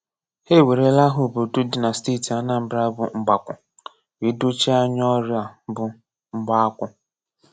Ha ewerela aha obodo dị na Steeti Anambara bụ́ M̀gbàkwù, wee dochie anya ọrụ a bụ́ M̀gbáākwù̄.